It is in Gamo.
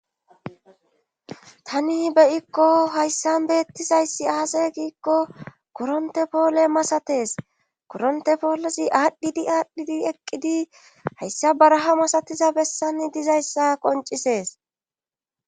Tani beyikko hayssan beettizayssi aase giikko koronte poole masatees koronte poolosi aadhdhidi aadhdhidi eqqidi hayssa baraha masatiza bessan dizayssa qoncisees